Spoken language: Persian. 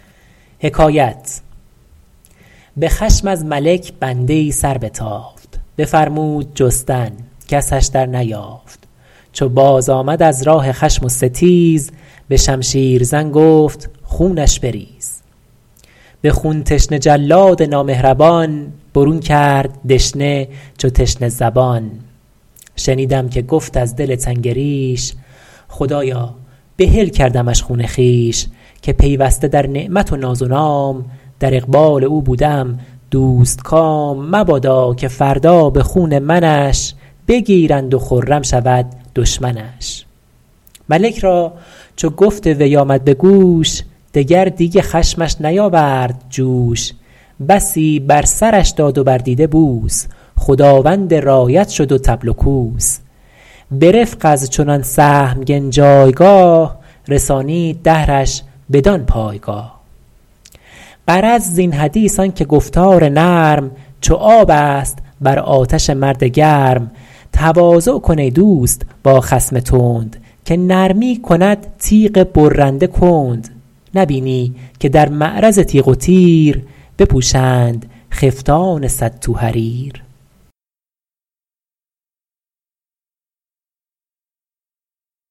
به خشم از ملک بنده ای سربتافت بفرمود جستن کسش در نیافت چو بازآمد از راه خشم و ستیز به شمشیر زن گفت خونش بریز به خون تشنه جلاد نامهربان برون کرد دشنه چو تشنه زبان شنیدم که گفت از دل تنگ ریش خدایا بحل کردمش خون خویش که پیوسته در نعمت و ناز و نام در اقبال او بوده ام دوستکام مبادا که فردا به خون منش بگیرند و خرم شود دشمنش ملک را چو گفت وی آمد به گوش دگر دیگ خشمش نیاورد جوش بسی بر سرش داد و بر دیده بوس خداوند رایت شد و طبل و کوس به رفق از چنان سهمگن جایگاه رسانید دهرش بدان پایگاه غرض زین حدیث آن که گفتار نرم چو آب است بر آتش مرد گرم تواضع کن ای دوست با خصم تند که نرمی کند تیغ برنده کند نبینی که در معرض تیغ و تیر بپوشند خفتان صد تو حریر